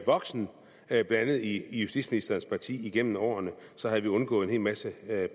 voksen blandt andet i justitsministerens parti igennem årene så havde vi undgået en hel masse